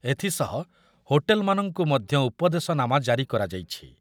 ଏଥିସହ ହୋଟେଲମାନଙ୍କୁ ମଧ୍ୟ ଉପଦେଶନାମା ଜାରି କରାଯାଇଛି ।